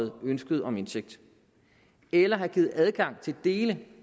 ønsket om indsigt eller give adgang til dele